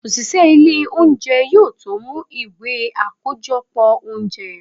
osìsé ilé oúnjẹ, yóò tó mú ìwé akojọpọ oúnjẹ.